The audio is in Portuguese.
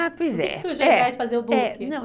Ah, pois é. Por que surgiu atrás de fazer o book?